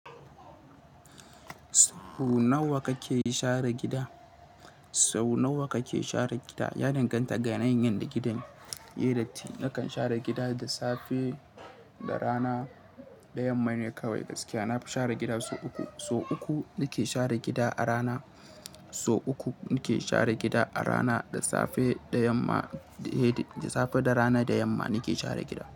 Sau nawa kake share gida? Sau nawa kake share gida? Ya danganta ga yanayin yanda da gidan, yai datti. Nakan share gida da safe da rana da yamma ne kawai gaskiya. Na fi share gida sau uku. Sau uku nake share gida a rana, sau uku nake share gida a rana da safe da yamma, eh da safe da rana da yamma nake share gida.